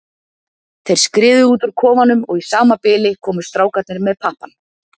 Þeir skriðu út úr kofanum og í sama bili komu strákarnir með pappann.